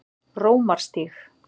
Rómarstíg